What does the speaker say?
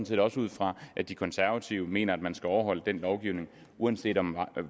set også ud fra at de konservative mener altså at man skal overholde den lovgivning uanset om